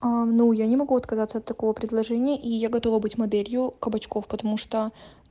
а ну я не могу отказаться от такого предложения и я готова быть моделью кабачков потому что